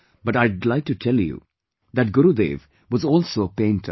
But I would like to tell you that Gurudev was also a painter